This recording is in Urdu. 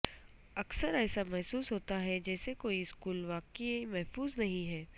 اکثر ایسا محسوس ہوتا ہے جیسے کوئی سکول واقعی محفوظ نہیں ہے